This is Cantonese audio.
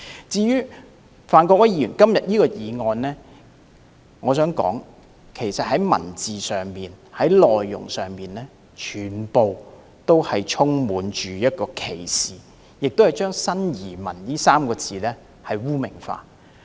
至於范國威議員今天提出的議案，我想指出當中的文字或內容充滿歧視，亦把"新移民"這3個字污名化。